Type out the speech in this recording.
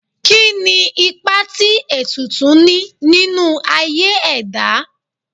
Kí ni ipa tí ètùtù ní nínú aye ẹ̀dá?